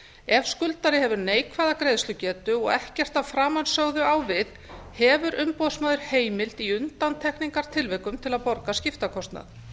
ef skuldari hefur neikvæða greiðslugetu og ekkert af framansögðu á við hefur umboðsmaður heimild í undantekningartilvikum til að borga skiptakostnað